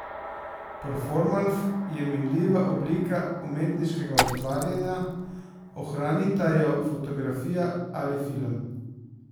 Performans je minljiva oblika umetniškega ustvarjanja, ohranita jo fotografija ali film.